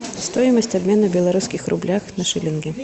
стоимость обмена в белорусских рублях на шиллинги